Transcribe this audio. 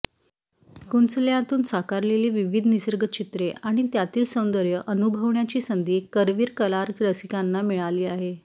कुंचल्यातून साकारलेली विविध निसर्गचित्रे आणि त्यातील सौंदर्य अनुभवण्याची संधी करवीर कलारसिकांना मिळाली आहे